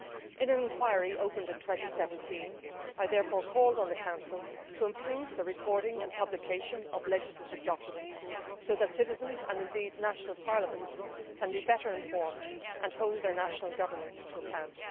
In an inquiry opened in 2017, I therefore called on the Council to improve the recording and publication of legislative documents so that citizens and indeed national parliaments can be better informed and hold their national governments to account.